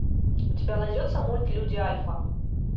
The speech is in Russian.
у тебя найдется мульт люди альфа